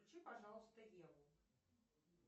включи пожалуйста еву